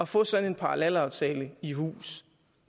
få sådan en parallelaftale i hus